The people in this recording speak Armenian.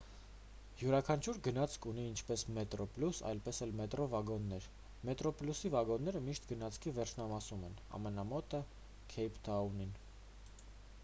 յուրաքանչյուր գնացք ունի ինչպես մետրոպլյուս այնպես էլ մետրո վագոններ մետրոպլյուսի վագոնները միշտ գնացքի վերջնամասում են ամենամոտը քեյփթաունին